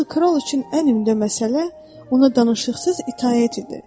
Axı kral üçün ən ümdə məsələ ona danışıqsız itaət idi.